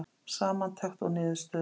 Samantekt og niðurstöður